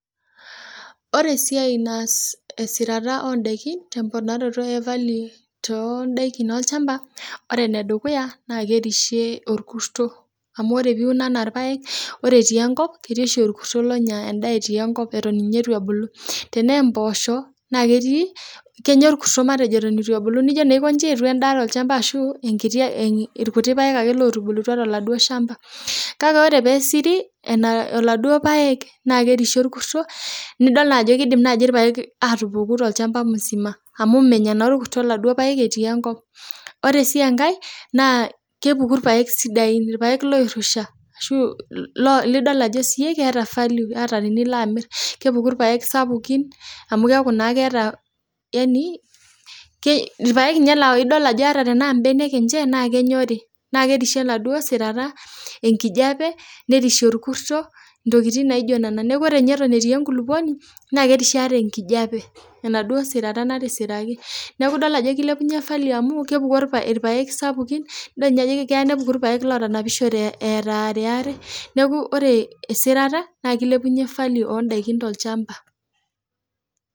Ore esiai naas esirata oo daiki temponaroto ee value too daikin olchamba ore enedukuya naa kerishie orkurto amu tenaa irpaek naa ketii oshi orkurto lotii enkop Eton eitu ebulu tenaa mboshok naa Kenya orkurto Eton eitu ebulu nijo aikoji etua endaa tolchamba ashu irkuti paek otubulua too lodua shamba kake ore pee esiri eladuo paek naa kerishie oladuo kurto nidol Ajo kidim eladuo paek atupuku tolchamba musima amu menyaa naa orkurto eladuo paek etii enkop ore sii enkae naa kepuku irpaek sidain irpaek oirusha lidol Ajo keeta value tenilo amir kepuku irpaek sapukin amu keretu naa keeta irpaek laa tenidol embenek enye naa kenyori naa kerishie enaduo sirata enkijiape nerishie orkurto ntokitin naijio Nena neeku ore ninye Eton etii enkulupuoni naa kerishie ataa enkijiape enaduo sirata natisiraki neeku edol Ajo kilepunye value amu kepuku irpaek sapukin edol Ajo keya ninye nepuku irpaek otanapishote etaa ariyare neeku ore esirata naa kilepunye value oo daiki tolchamba